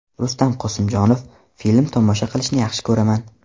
Rustam Qosimjonov: Film tomosha qilishni yaxshi ko‘raman.